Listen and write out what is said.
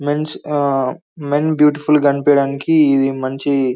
men's ఆ men beautiful గ కనిపియడానికి ఇది మంచి --